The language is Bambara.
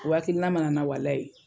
O hakilina man na n na walahi.